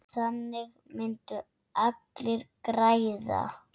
Þannig myndu allir græða.